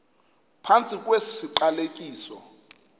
phantsi kwesi siqalekiso